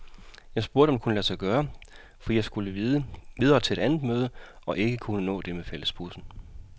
Jeg spurgte, om det kunne lade sig gøre, fordi jeg skulle videre til et andet møde og ikke kunne nå det med fællesbussen.